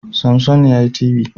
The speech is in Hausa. Samsung yayi TV